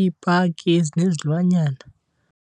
iipaki ezinezilwanyana.